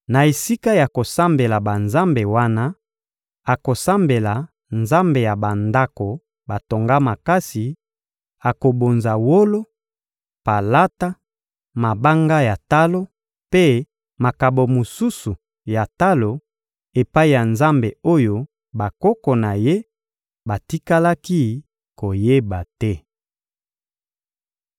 Na esika ya kosambela banzambe wana, akosambela nzambe ya bandako batonga makasi; akobonza wolo, palata, mabanga ya talo mpe makabo mosusu ya talo epai ya nzambe oyo bakoko na ye batikalaki koyeba te.